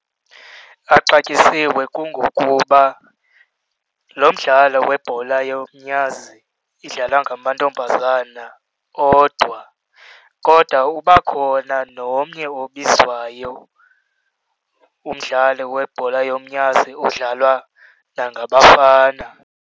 Axatyisiwe kungokuba lo mdlalo webhola yomnyazi idlalwa ngamantombazana odwa, kodwa uba khona nomnye obizwayo umdlalo webhola yomnyazi odlalwa nangabafana.